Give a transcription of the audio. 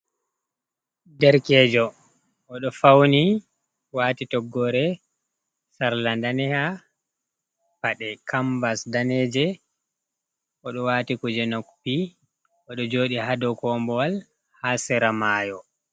Derkejo, oɗo fauni wati toggore sarla ndaneha, paɗe kanvas daneje, oɗo wati kuje noppi, oɗi joɗi hadau kombowal, ha sera nda mayo.